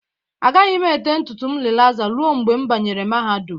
Agaghị m ete ntutu m rilaza ruo mgbe m banyere mahadum